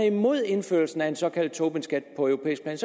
imod indførelsen af en såkaldt tobinskat på europæisk plan